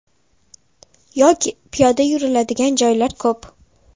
Yoki piyoda yuriladigan joylar ko‘p.